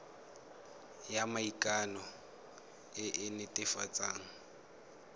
ya maikano e e netefatsang